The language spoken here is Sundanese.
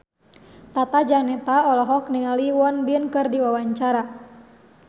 Tata Janeta olohok ningali Won Bin keur diwawancara